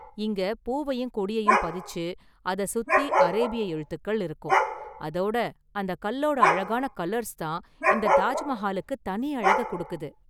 இங்க பூவையும் கொடியையும் பதிச்சு, அதை சுத்தி அரேபிய எழுத்துக்கள் இருக்கும், அதோட அந்த கல்லோட அழகான கலர்ஸ் தான் இந்த தாஜ் மஹாலுக்கு தனி அழக கொடுக்குது.